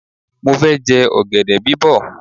Mo fẹ́ jẹ ọ̀gẹ̀dẹ̀ bí bọ̀.